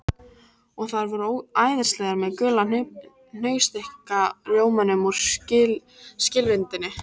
Og þær voru æðislegar með gula hnausþykka rjómanum úr skilvindunni